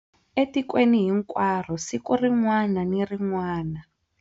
Ekweni hinkwaro siku rin'wana ni rin'wana.